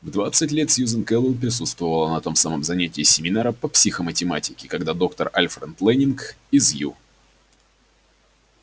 в двадцать лет сьюзен кэлвин присутствовала на том самом занятии семинара по психоматематике когда доктор альфред лэннинг из ю